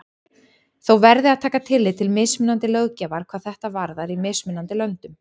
Þó verði að taka tillit til mismunandi löggjafar hvað þetta varðar í mismunandi löndum.